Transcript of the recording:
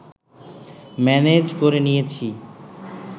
manage করে নিয়েছি